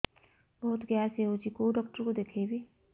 ବହୁତ ଗ୍ୟାସ ହଉଛି କୋଉ ଡକ୍ଟର କୁ ଦେଖେଇବି